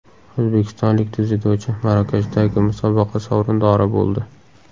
O‘zbekistonlik dzyudochi Marokashdagi musobaqa sovrindori bo‘ldi.